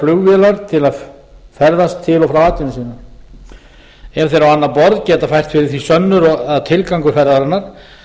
eða flugvélar til að ferðast til og frá atvinnu sinni ef þeir á annað borð geta fært á það sönnur að tilgangur ferðarinnar